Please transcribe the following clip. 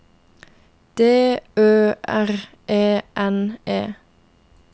D Ø R E N E